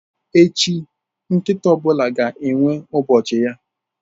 Echi, nkịta ọ bụla ga-enwe ụbọchị ya.